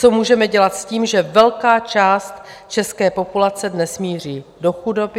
Co můžeme dělat s tím, že velká část české populace dnes míří do chudoby?